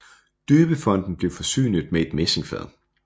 Døbefonten blev forsynet med et messingfad